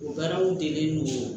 O baaraw delilen no